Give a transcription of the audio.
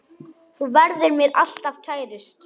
Þú verður mér alltaf kærust.